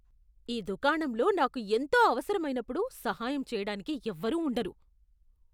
ఈ దుకాణంలో నాకు ఎంతో అవసరమైనప్పుడు సహాయం చేయడానికి ఎవరూ ఉండరు.